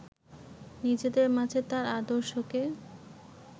নিজেদের মাঝে তার আদর্শকে